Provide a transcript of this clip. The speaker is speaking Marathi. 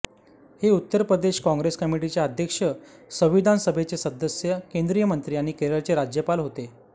हे उत्तर प्रदेश काँग्रेस कमिटीचे अध्यक्ष संविधान सभेचे सदस्य केंद्रीय मंत्री आणि केरळचे राज्यपाल होते